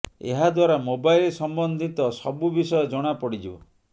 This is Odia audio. ଏହା ଦ୍ବାରା ମୋବାଇଲ ସମ୍ବନ୍ଧିତ ସବୁ ବିଷୟ ଜଣା ପଡିଯିବ